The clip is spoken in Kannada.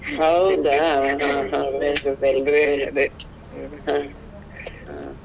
ಹೌದಾ ಹ ಹ ಹಾ very good ಹಾ ಹಾ.